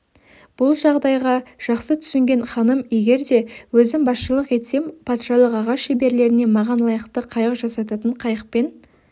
бұл жағдайға жақсы түсінген ханым егер де өзім басшылық етсем патшалық ағаш шеберлеріне маған лайықты қайық жасататынын қайықпен